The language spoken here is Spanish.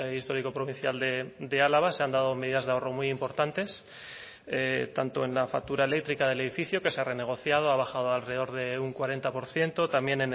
histórico provincial de álava se han dado medidas de ahorro muy importantes tanto en la factura eléctrica del edificio que se ha renegociado ha bajado alrededor de un cuarenta por ciento también